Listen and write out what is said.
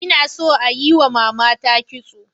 Ina so a yiwa matata kitso.